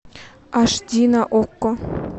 аш ди на окко